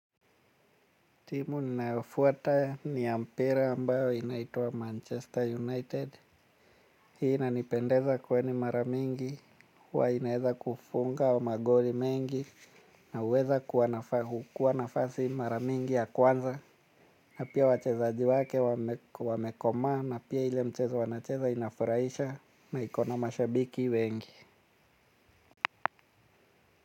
Timu ninayofuata ni ya mpira ambayo inaitwa Manchester United. Hii inanipendeza kweli mara mingi. Huwa inaeza kufunga magoli mengi. Na huweza kukua nafasi mara mingi ya kwanza. Na pia wachezaji wake wamekomaa. Na pia ile mchezo wanacheza inafurahisha na iko na mashabiki wengi.